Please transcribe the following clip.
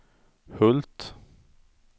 Hult